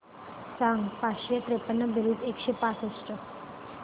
सांग पाचशे त्रेपन्न बेरीज एकशे पासष्ट